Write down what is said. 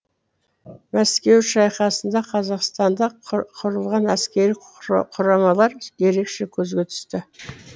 мәскеу шайқасында қазақстанда құрылған әскери құрамалар ерекше көзге түсті